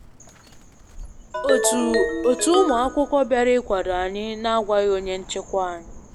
Otu otu ụmụ akwụkwọ bịara ịkwado anyị na agwaghị onye nchịkwa anyị